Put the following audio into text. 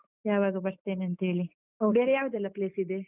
ಯಾವಾಗ ಬರ್ತೇನಂತೇಳಿ . ಬೇರೆ ಯಾವ್ದೆಲ್ಲ place ಇದೆ?